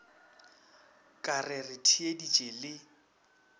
ka re re theeditše le